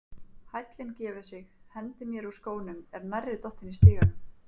Hællinn gefur sig, hendi mér úr skónum er nærri dottin í stiganum.